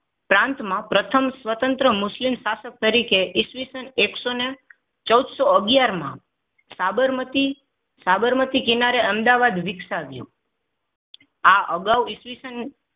પ્રાંતમાં પ્રથમ સ્વતંત્ર મુસ્લિમ શાસક તરીકે ઈસવીસન એકસો ને ચૌદસો અગિયાર માં સાબરમતી સાબરમતી કિનારે અમદાવાદ વિકસાવ્યું. આ અગાઉ ઈસવીસન